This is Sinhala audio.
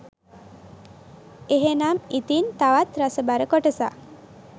එහෙනම් ඉතින් තවත් රසබර කොටසක්